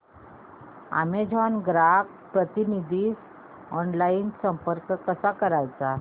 Amazon ग्राहक प्रतिनिधीस online संपर्क कसा करायचा